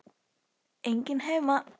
Enginn heima.